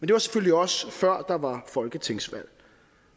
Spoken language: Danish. det var selvfølgelig også før der var folketingsvalg